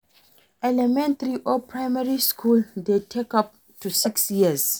Elementary or Primary school de take up to six years